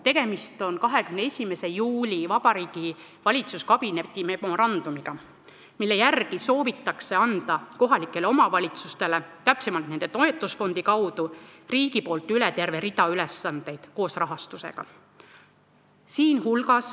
Tegemist on valitsuskabineti 21. juuli memorandumiga, mille järgi soovib riik anda kohalikele omavalitsustele, täpsemalt, nende toetusfondi kaudu üle terve rea ülesandeid koos rahastusega.